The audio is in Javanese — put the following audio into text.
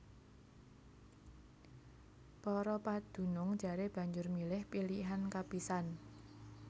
Para padunung jaré banjur milih pilihan kapisan